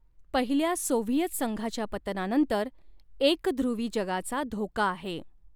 पहिल्या सोव्हिएत संघाच्या पतनानंतर एकधृवी जगाचा धोका आहे.